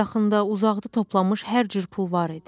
Yaxında, uzaqda toplanmış hər cür pul var idi.